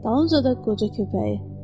Dalınca da qoca köpəyi.